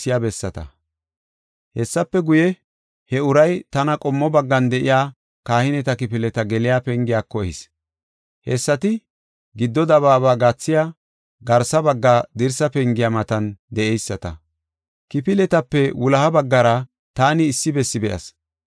Hessafe guye, he uray tana qommo baggan de7iya kahineta kifileta geliya pengiyako ehis. Hessati giddo dabaaba gathiya garsa bagga dirsa pengiya matan de7eyisata. Kifiletape wuloha baggara taani issi bessi be7as.